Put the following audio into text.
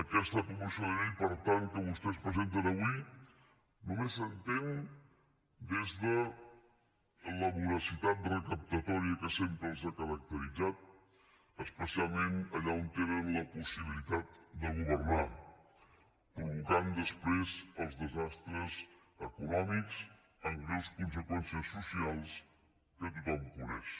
aquesta proposició de llei per tant que vostès presenten avui només s’entén des de la voracitat recaptatòria que sempre els ha caracteritzat especialment allà on tenen la possibilitat de governar i que provoca després els desastres econòmics amb greus conseqüències socials que tothom coneix